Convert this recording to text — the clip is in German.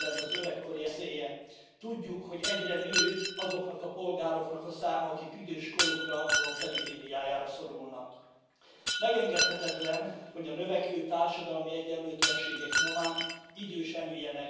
werden sie im weiteren Verfahren beachten, glauben jedoch, dass der Vorschlag der Kommission eine gute Grundlage für eine ergänzende Unterstützung der primär nationalen und privaten Alterssicherung in den Mitgliedstaaten sein kann.